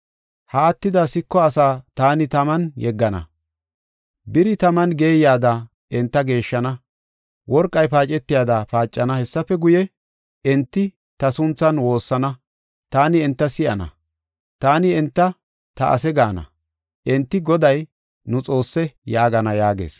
Ha attida siko asaa taani taman yeggana; biri taman geeyada enta geeshshana; worqey paacetiyada paacana. Hessafe guye, enti ta sunthan woossana; taani enta si7ana. Taani enta, ‘Ta ase’ gaana; enti, Goday, ‘Nu Xoosse’ yaagana” yaagees.